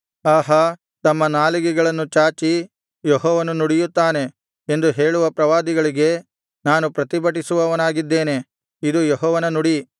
ಆಹಾ ತಮ್ಮ ನಾಲಿಗೆಗಳನ್ನು ಚಾಚಿ ಯೆಹೋವನು ನುಡಿಯುತ್ತಾನೆ ಎಂದು ಹೇಳುವ ಪ್ರವಾದಿಗಳಿಗೆ ನಾನು ಪ್ರತಿಭಟಿಸುವವನಾಗಿದ್ದೇನೆ ಇದು ಯೆಹೋವನ ನುಡಿ